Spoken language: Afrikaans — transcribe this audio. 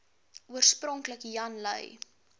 oorspronklik jan lui